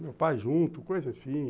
Meu pai junto, coisa assim.